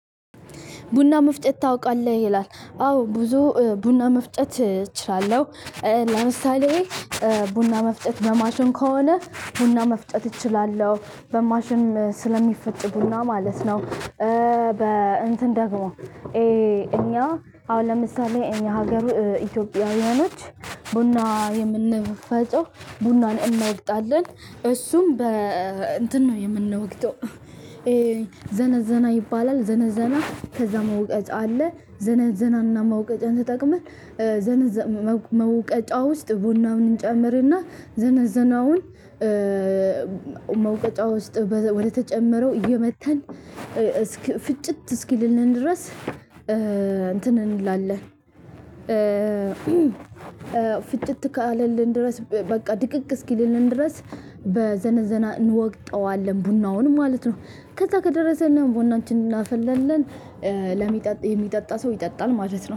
ቡና መፍጨት ታውቃለህ ይላል አዎ ብዙ ቡና መፍጨት እችላለሁ። ለምሳሌ ቡና መፍጨጥ በማሽን ከሆነ ቡና መፍጨጥ እችላለሁ በማሽን ስለሚፈጭ ቡና ማለት ነው። በ እንትን ደግሞ እኛ አሁን ለምሳሌ እኛ ሀገሩ ኢትዮጵያውያኖች ቡና የምንፈጨው ቡናን እናወቅጣለን እሱም በ እንትን ነው የምንወቅጠው። ዘነዘና ይባላል ዘነዘና መውቀጫ አለ ዘነዘናና መውቀጫ ተጠቅመን። መውቀጫ ውስጥ ቡናውን እንጨምር እና ዘነዘናውን መውቀጫ ውስጥ ወደተጨመረው እየመተን ፍጭት እስኪልንን ድረስ እትን እንላለን። ፍጭት ካለልን ድረስ በቃ ድቅቅ አስኪልልን ድረስ በዘነዘና እንወቅጠዋለን ቡናውን ማለት ነው። ከዜ ከደረሰልን ቡናችንን እናፈላለን። ለሚጠጣ የሚጠጣ ሰው ይጠጣን ማለት ነው